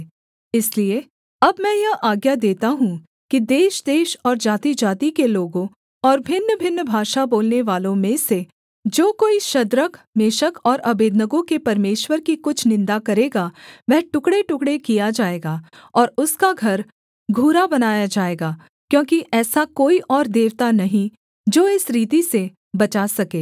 इसलिए अब मैं यह आज्ञा देता हूँ कि देशदेश और जातिजाति के लोगों और भिन्नभिन्न भाषा बोलनेवालों में से जो कोई शद्रक मेशक और अबेदनगो के परमेश्वर की कुछ निन्दा करेगा वह टुकड़ेटुकड़े किया जाएगा और उसका घर घूरा बनाया जाएगा क्योंकि ऐसा कोई और देवता नहीं जो इस रीति से बचा सके